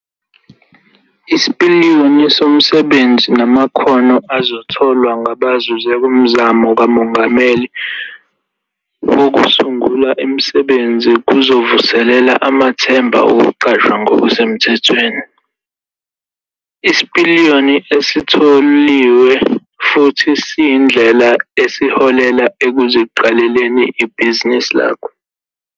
Isipiliyoni somsebenzi namakhono azotholwa ngabazuze kuMzamo kaMongameli Wokusungula Imisebenzi kuzovuselela amathemba okuqashwa ngokusemthethweni. Isipiliyoni esitholiwe futhi siyindlela eholela ekuziqaleleni ibhizinisi lakho.